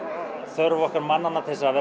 þörf okkar mannanna til að